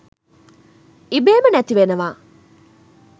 ඉබේම නැතිවෙනවා.